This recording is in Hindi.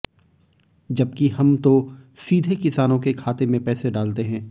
जबकि हम तो सीधे किसानों के खाते में पैसे डालते हैं